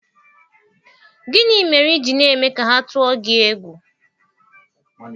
Gịnị mere i ji na-eme ka ha tụọ gi egwu?